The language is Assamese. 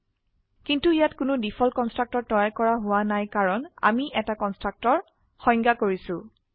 কিন্তু ইয়াত কোনো ডিফল্ট কনস্ট্ৰাক্টৰ তৈয়াৰ কৰা হোৱা নাই কাৰণ আমি এটা কনস্ট্ৰাক্টৰ সংজ্ঞায়িত কৰিছো